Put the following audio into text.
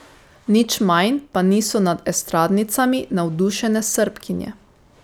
Nič manj pa niso nad estradnicami navdušene Srbkinje.